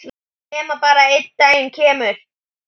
Nema bara einn daginn kemur